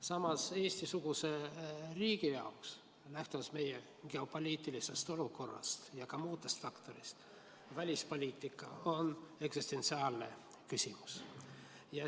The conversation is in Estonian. Samas, Eesti-suguse riigi jaoks, lähtuvalt meie geopoliitilisest olukorrast ja muudest faktoritest, on välispoliitika eksistentsiaalne küsimus.